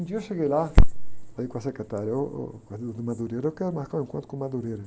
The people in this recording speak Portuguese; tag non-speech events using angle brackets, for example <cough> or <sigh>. Um dia eu cheguei lá, falei com a secretária, ôh, ôh, <unintelligible> eu quero marcar um encontro com o. <unintelligible>